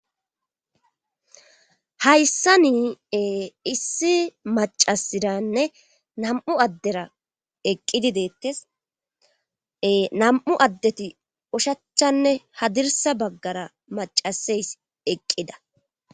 hayssa nii issi macasiranne nam7u addera eqqidi deettes nam7u addeti ushachchanne hadirsa baggara macaseys eqqida